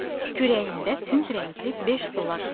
Kürəyində tünd rəngli beş zolaq var.